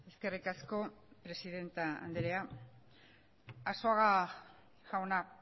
eskerrik asko presidente andrea arzuaga jauna